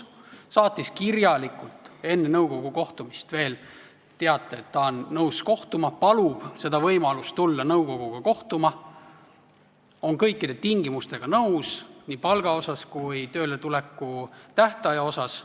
Ta saatis enne nõukogu kokkutulemist veel kirjalikult teate, et ta on nõus kohtuma, et ta palub võimalust tulla nõukoguga kohtuma, on nõus kõikide tingimustega nii palga kui ka tööletuleku tähtaja asjus.